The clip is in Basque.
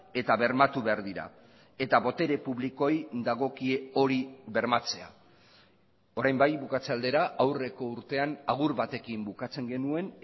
eta bermatu behar dira eta botere publikoei dagokie hori bermatzea orain bai bukatze aldera aurreko urtean agur batekin bukatzen genuen